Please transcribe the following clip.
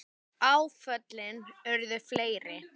Áföllin urðu fleiri.